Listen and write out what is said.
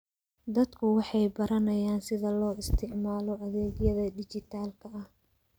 Dadku waxay baranayaan sida loo isticmaalo adeegyada dhijitaalka ah.